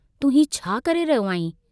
तूं हीउ छा करे रहियो आहीं?